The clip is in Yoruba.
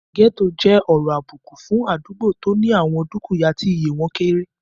Gẹ́ẹ́tò jẹ́ ọ̀rọ̀ àbùkù fún àdúgbò tó ní àwọn dúkìyá tí iye wọ́n kéré